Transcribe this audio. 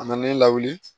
A na ne lawuli